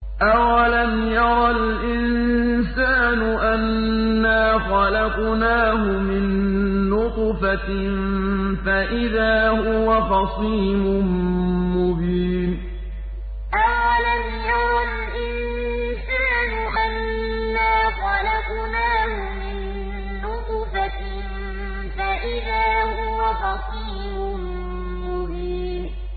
أَوَلَمْ يَرَ الْإِنسَانُ أَنَّا خَلَقْنَاهُ مِن نُّطْفَةٍ فَإِذَا هُوَ خَصِيمٌ مُّبِينٌ أَوَلَمْ يَرَ الْإِنسَانُ أَنَّا خَلَقْنَاهُ مِن نُّطْفَةٍ فَإِذَا هُوَ خَصِيمٌ مُّبِينٌ